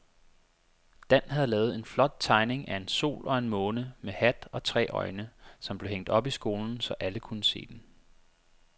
Dan havde lavet en flot tegning af en sol og en måne med hat og tre øjne, som blev hængt op i skolen, så alle kunne se den.